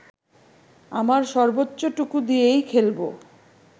আমার সর্বোচ্চটুকু দিয়েই খেলবো